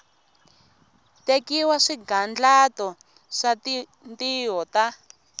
tekiwa swigandlato swa tintiho ta